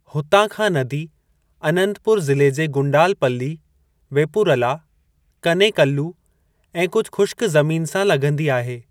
हुतां खां नदी अनंतपुर ज़िले जे गुंडालपल्ली, वेपुरला, कनेकल्लू ऐं कुझु ख़ुश्कु ज़मीनु सां लघिंदी आहे।